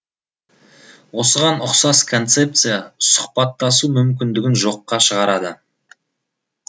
осыған ұқсас концепция сұхбаттасу мүмкіндігін жоққа шығарады